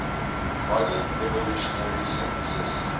modern evolutionary synthesis